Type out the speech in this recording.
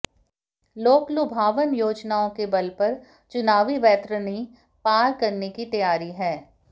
लोकलुभावन योजनाओं के बल पर चुनावी वैतरणी पार करने की तैयारी है